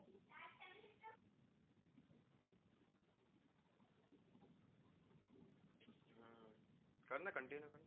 કર ને continue કરને